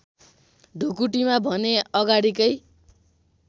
ढुकुटीमा भने अगाडिकै